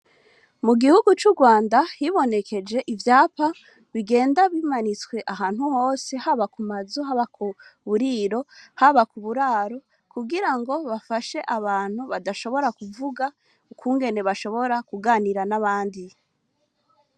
Mugihugu c'Urwanda hibonekeje ivyapa bigenda bimanitswe ahantu hose haba kumazu haba kuburiro haba kuburaro kugirango bafashe abantu badashobora kuvuga ukungene bashobora Ku ganira nabandi.